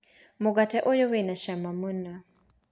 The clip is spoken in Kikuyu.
Mũgate ũyũ wĩna cama mũno.